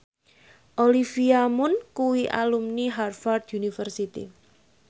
Olivia Munn kuwi alumni Harvard university